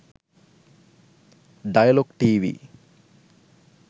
dialog tv